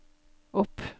opp